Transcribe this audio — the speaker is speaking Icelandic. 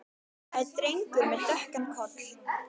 Það er drengur með dökkan koll.